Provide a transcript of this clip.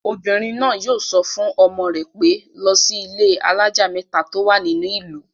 Obìnrin náà yóò sọ fún ọmọ rẹ pé, 'lọ sí ilé-alájà mẹ́ta tó wà nínú ìlú'